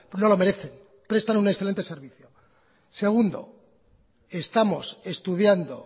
no lo merecen prestan un excelente servicio segundo estamos estudiando